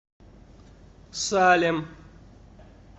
салем